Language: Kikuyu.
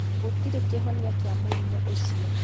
Gũtirĩ kĩhonia kĩa mũrimũ ũcio